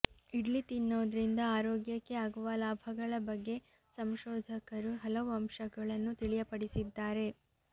ಇಡ್ಲಿ ತಿನ್ನೋದ್ರಿಂದ ಆರೋಗ್ಯಕ್ಕೆ ಆಗುವ ಲಾಭಗಳ ಬಗ್ಗೆ ಸಂಶೋಧಕರು ಹಲವು ಅಂಶಗಳನ್ನು ತಿಳಿಯಪಡಿಸಿದ್ದಾರೆ